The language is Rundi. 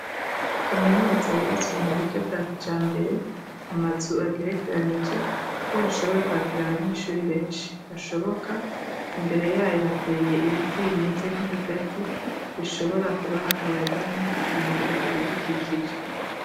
Kaminuza yubatswe mu buryo bwa kijambere. Amazu agerekeranije kugira bashobore kwakira abanyeshuri benshi bashoboka imbere yayo hateye ibiti bimeze nk'ibigazi bishobora kubaha akayaga no gukingira ibidukikije.